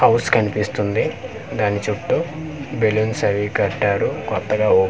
house కనిపిస్తుంది దాని చుట్టూ బెలూన్స్ అవి కట్టారు కొత్తగా ఓ--